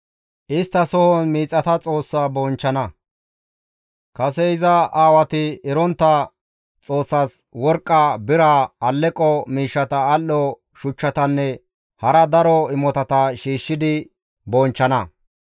Isttasohon miixata xoossa bonchchana, kase iza aawati erontta xoossas worqqa, bira, aleqo miishshata, al7o shuchchatanne hara daro imotata shiishshidi bonchchana.